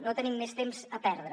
no tenim més temps a perdre